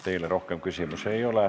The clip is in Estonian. Teile rohkem küsimusi ei ole.